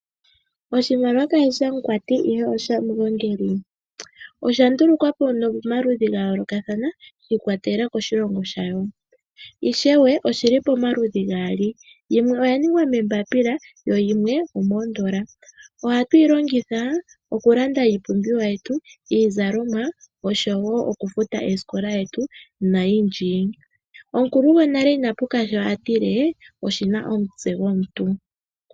Oshimaliwa kashishi shamukwati ihe osha mugongeli, osha ndulukwa po momaludhi gayoolokathana, shi ikwatelela koshilongo shayo, Ishewe oshili pomaludhi gaali, yimwe oya ningwa meembapila, yimwe omoondola. Oha tu yi longitha oku landa iipumbiwa yetu, iizalomwa, osho woo okufuta oosikola dhetu, nayindji. Omukulu gwonale ina puka sho a tile: Oshina omutse gwomuntu.